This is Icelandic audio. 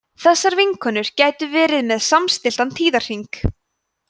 þessar vinkonur gætu verið með samstilltan tíðahring